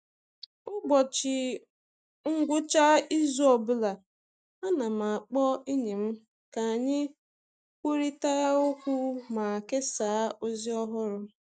Ụbọchị ngwụcha izu ọ bụla, ana m akpọ enyi m ka anyị kwurịta okwu ma kesaa ozi ọhụrụ.